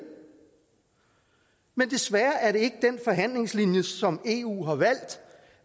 men desværre er det ikke den forhandlingslinje som eu har valgt